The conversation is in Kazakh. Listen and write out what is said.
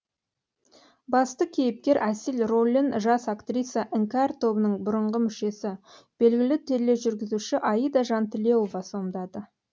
басты кейіпкер әсел рөлін жас актриса іңкәр тобының бұрынғы мүшесі белгілі тележүргізуші аида жантілеуова сомдады